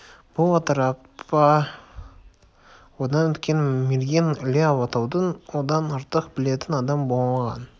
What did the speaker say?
бұл атырапта одан өткен мерген іле алатауын одан артық білетін адам болмаған